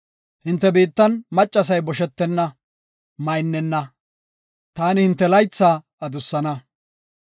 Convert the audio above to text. Hinte biittan maccasay boshetenna; maynnena. Taani hinte laytha adussana.